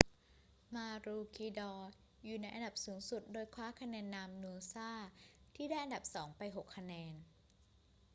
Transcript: maroochydore อยู่ในอันดับสูงสุด โดยคว้าคะแนนนำ noosa ที่ได้อันดับสองไป 6 คะแนน